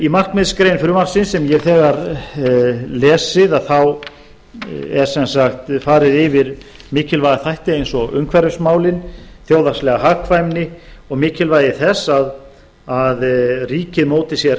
í markmiðsgrein frumvarpsins sem ég hef þegar lesið er sem sagt farið yfir mikilvæga þætti eins og umhverfismálin þjóðhagslega hagkvæmni og mikilvægi þess að ríkið móti sér